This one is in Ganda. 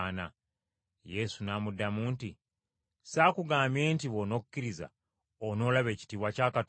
Yesu n’amuddamu nti, “Saakugambye nti bw’onokkiriza onoolaba ekitiibwa kya Katonda?”